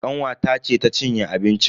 Kanwata ce ta cinye abincin.